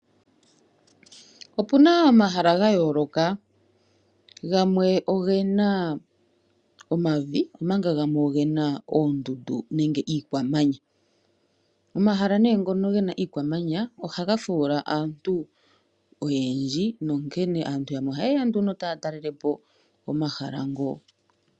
Opuna omahala ga yooloka gamwe ogena omavi omanga gamwe ogena oondundu nenge iikwamanya. Omahala ngono gena iikwamanya ohaga fuula aantu oyendji nonkene aantu yamwe ohayeya ne taya talelepo omahala ngo.